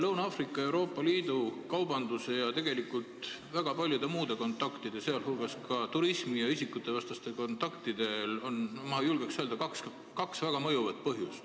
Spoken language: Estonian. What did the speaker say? Lõuna-Aafrika Vabariigi ja Euroopa Liidu vahelist kaubandust ja tegelikult väga paljusid muid kontakte, sh turismi ja isikutevahelisi kontakte mõjutab, ma julgen öelda, kaks väga mõjuvat asjaolu.